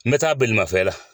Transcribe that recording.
N bɛ taa bolimafɛn la.